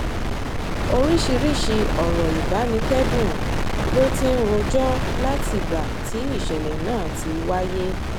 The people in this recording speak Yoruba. oríṣiríṣiì ọ̀rọ̀ ìbánikẹ́dùn ló ti ń rojọ́ látìgbà tí ìṣẹ̀lẹ̀ náà ti wáyé